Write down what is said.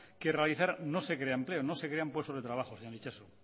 que realizar no se crean empleo no se crean puestos de trabajo señor itxaso